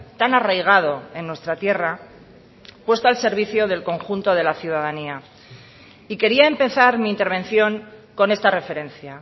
tan arraigado en nuestra tierra puesto al servicio del conjunto de la ciudadanía y quería empezar mi intervención con esta referencia